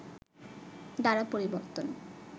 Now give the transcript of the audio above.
দ্বারা পরিবর্তন